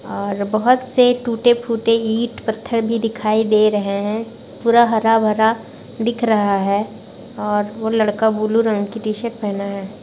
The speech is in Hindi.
और बहुत से टूटे-फूटे ईट पत्थर भी दिखाई दे रहे है पूरा हरा-भरा दिख रहा है और वो लड़का ब्लू रंग की टी-शर्ट पहना है।